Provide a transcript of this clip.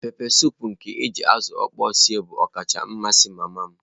Pepesụpụ nke eji azụ okpor sie bụ ọkacha amasị mama m.